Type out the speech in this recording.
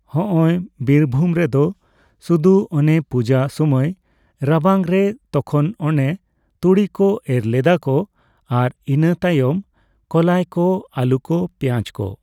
ᱦᱚᱸᱼᱚᱭ ᱵᱤᱨᱵᱷᱩᱢ ᱨᱮᱫᱚ ᱥᱩᱫᱩ ᱚᱱᱮ ᱯᱩᱡᱟᱹ ᱥᱩᱢᱟᱹᱭ ᱨᱟᱵᱟᱝ ᱨᱮ ᱛᱚᱠᱷᱚᱱ ᱚᱱᱮ ᱛᱩᱲᱤ ᱠᱚ ᱮᱨ ᱞᱮᱫᱟ ᱠᱚ, ᱟᱨ ᱤᱱᱟᱹᱛᱟᱭᱚᱢ ᱠᱚᱞᱟᱭ ᱠᱚ, ᱟᱞᱩ ᱠᱚ ᱯᱮᱸᱭᱟᱡᱽ ᱠᱚ᱾